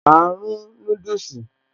Áá rún núdùsì